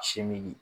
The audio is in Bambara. Sin min